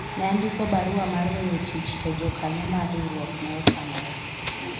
ne andiko barua mar weyo tich to jokanyo mar riwruok ne otamore